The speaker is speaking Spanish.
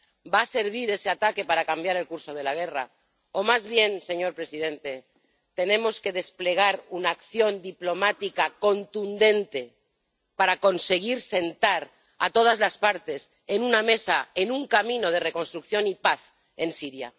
¿Va a servir ese ataque para cambiar el curso de la guerra, o más bien, señor presidente, tenemos que desplegar una acción diplomática contundente para conseguir sentar a todas las partes en una mesa, en un camino de reconstrucción y paz en Siria?